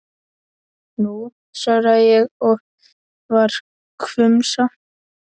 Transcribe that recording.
Nú, svaraði ég og var hvumsa.